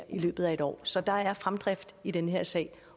i løbet af et år så der er fremdrift i den her sag